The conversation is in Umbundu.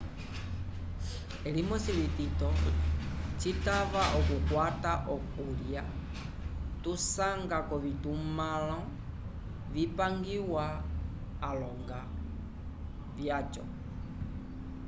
elimoso litito citava okukwata okulya tusanga k'ovitumãlo vipangiwa alonga vyaco